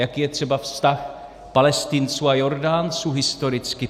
Jaký je třeba vztah Palestinců a Jordánců, historicky?